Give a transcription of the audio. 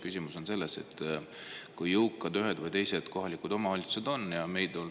Küsimus on selles, kui jõukas üks või teine kohalik omavalitsus on.